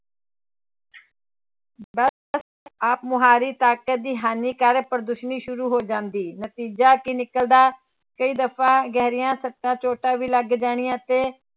ਬਸ ਆਪ ਮੁਹਾਰੇ ਤਾਕਤ ਦੀ ਹਾਨੀ ਕਰ ਪ੍ਰਦਰਸ਼ਨੀ ਸ਼ੁਰੂ ਹੋ ਜਾਂਦੀ, ਨਤੀਜਾ ਕੀ ਨਿਕਲਦਾ ਕਈ ਦਫ਼ਾ ਗਹਿਰੀਆਂ ਸੱਟਾਂ ਚੋਟਾਂ ਵੀ ਲੱਗ ਜਾਣੀਆਂ ਅਤੇ